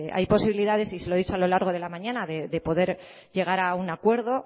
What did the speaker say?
hay posibilidades y se lo he dicho a lo largo de la mañana de poder llegar a un acuerdo